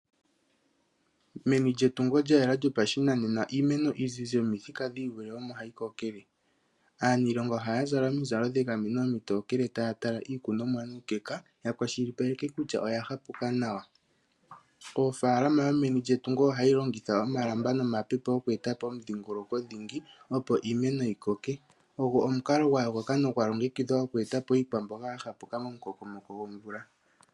Meni lye tungu lya yela lyo shinanena iimeno iizizi yomithika dhii vule ,omo hayi ko kele. Aanilonga ohaya zala omizalo dhegameno omitokele ,taya tala iikunonwa nuukeka ya kwashilipaleke kutya oya hakuka nawa. Ofaalama dho meni lye tungo ohayi longitha omalamba nomapepo okwee ta po omudhingoloko dhingi ,opo iimeno yi koke. Ogo omukalo gwa yokoka nogwa longekidhwa oku e ta po iikwamboga ya hapu ka mo mu koko mo ko gomvula.